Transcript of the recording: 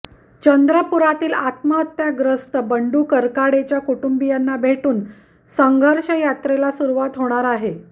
चंद्रपुरातील आत्महत्याग्रस्त बंडू करकाडेच्या कुटुंबियांना भेटून संघर्षयात्रेला सुरुवात होणार आहे